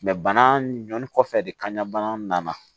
bana ɲɔni kɔfɛ de kaɲa bana nana